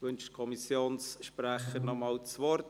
– Wünscht der Kommissionssprecher noch einmal das Wort?